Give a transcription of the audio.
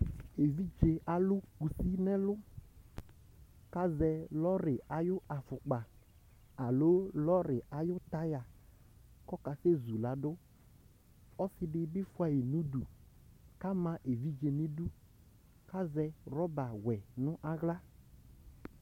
Evidze ãlu muti nu ɛlu Ku asɛ nord ayu afukpa, alo nord ayu tàyà, ku ɔkase zuladu Ɔsiɖi bi fuã yi nu udu Ama evidze nu iɖú Azɛ rɔba wɛ nu aɣla